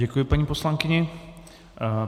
Děkuji paní poslankyni.